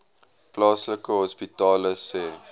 plaaslike hospitale sê